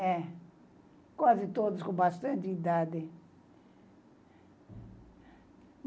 É. Quase todos com bastante idade.